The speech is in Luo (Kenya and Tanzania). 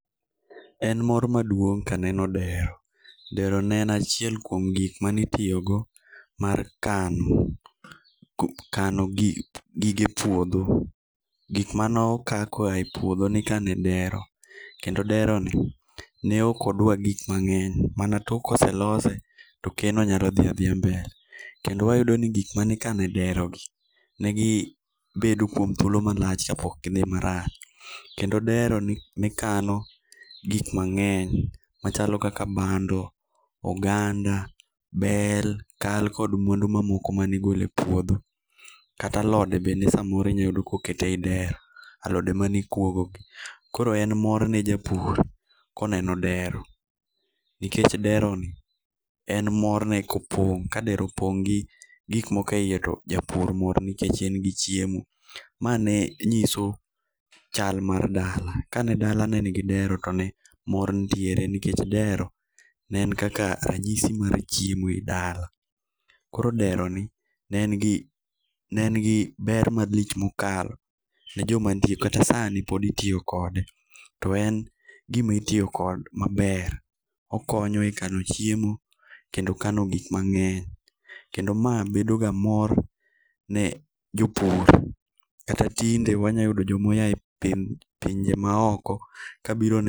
En mor maduong' ka aneno dero. Dero ne en achiel kuom gik mane itiyogo mar kano kano gige puodho. Gik mane okaa koa epuodho ni kane dero. Kendo deroni ne ok odwa gik mang'eny mana tok koselose to keno nyalo dhi adhia mbele. Kendo wayudo ni gik mane ikane derogi negi bedo kuom thuolo malach kapok gi dhi marach. Kendo dero ni kano gik mang'eny machalo kaka, bando, oganda, bel, kal kod mwandu mamoko mane igole puodho. Kata alode bende samoro inyalo yudo kokete eyi dero, alode mane ikuogogi koro en mor ne japur koneno dero nikeche deroni en morne kopong' ka dero opong' gi gik moko eyi to japur mor nikech en gi chiemo. Ma ne nyiso chal mar dala ka ne dala ne nigi dero to ne mor nitiere nikech dero ne en kaka ranyisi mar chiemo e dala. Koro deroni ne engi ne en gi ber malich mokalo ne joma nitie kata sani pod itiyo kode to en gima itiyo kod maber okonyo ekano chiemo kendo kano gik mang'eny kendo ma bedo ga mor ne jopur kata tinde wanya yudo joma oyae pinje ma oko kabiro ne